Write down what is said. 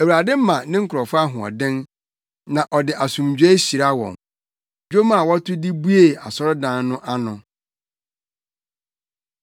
Awurade ma ne nkurɔfo ahoɔden, na ɔde asomdwoe hyira wɔn. Dwom a wɔto de buee Asɔredan no ano.